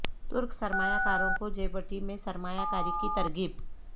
ترک سرمایہ کاروں کو جیبوٹی میں سرمایہ کاری کی ترغیب